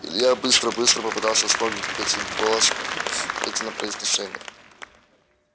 илья быстро-быстро попытался вспомнить петин голос петино произношение